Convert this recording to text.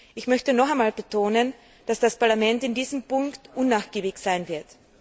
Ich möchte noch einmal betonen, dass das Parlament in diesem Punkt unnachgiebig sein wird.